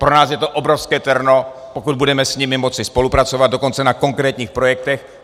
Pro nás je to obrovské terno, pokud budeme s nimi moci spolupracovat, dokonce na konkrétních projektech.